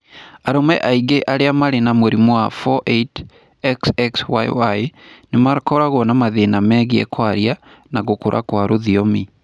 Arũme aingĩ arĩa marĩ na mũrimũ wa 48,XXYY nĩ makoragwo na mathĩna megiĩ kwaria na gũkũra kwa rũthiomi.